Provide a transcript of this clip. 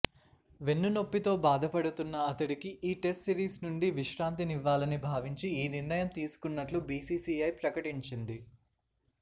వెన్నునొప్పితో బాధపడుతున్న అతడికి ఈ టెస్ట్ సీరిస్ నుండి విశ్రాంతినివ్వాలని భావించి ఈ నిర్ణయం తీసుకున్నట్లు బిసిసిఐ ప్రకటించింది